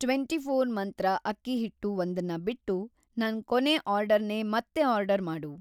Twenty four Mantra ಅಕ್ಕಿ ಹಿಟ್ಟು ಒಂದನ್ನ ಬಿಟ್ಟು ನನ್‌ ಕೊನೇ ಆರ್ಡರ್‌ನೇ ಮತ್ತೆ ಆರ್ಡರ್ ಮಾಡು.